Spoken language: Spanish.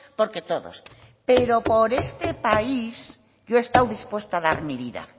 porque todos pero por este país yo he estado dispuesta a dar mi vida